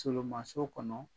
Tolomanso kɔnɔ